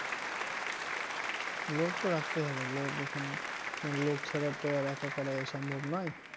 লোক তো রাখতেই হবে লোক এখানে লোক ছাড়া তো আর একা করা সম্ভব নয়।